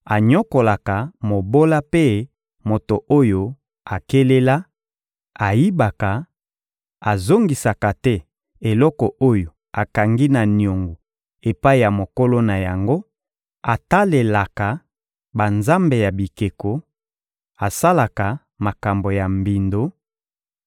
anyokolaka mobola mpe moto oyo akelela, ayibaka, azongisaka te eloko oyo akangi na niongo epai ya mokolo na yango, atalelaka banzambe ya bikeko, asalaka makambo ya mbindo,